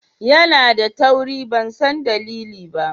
Yana da tauri ban san dalili ba.